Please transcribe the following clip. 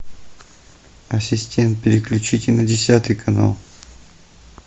ассистент переключите на десятый канал